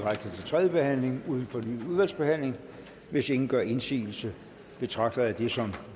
tredje behandling uden fornyet udvalgsbehandling hvis ingen gør indsigelse betragter jeg det som